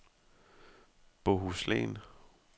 Bohuslän